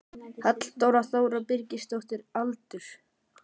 Halldóra Þóra Birgisdóttir Aldur?